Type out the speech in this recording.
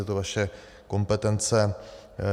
Je to vaše kompetence.